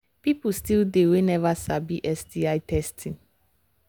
people still they we never sabi sti testing